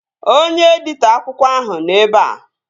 Onye editọ akwụkwọ ahụ nọ ebea